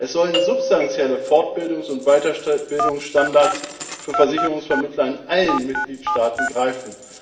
Es sollen substanzielle Fortbildungs und Weiterbildungsstandards für Versicherungsvermittler in allen Mitgliedstaaten greifen.